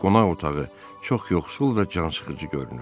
Qonaq otağı çox yoxsul və cansıxıcı görünür.